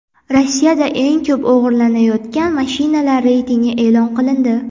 Rossiyada eng ko‘p o‘g‘irlanayotgan mashinalar reytingi e’lon qilindi.